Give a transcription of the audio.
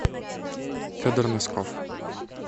федор носков